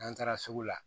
N'an taara sugu la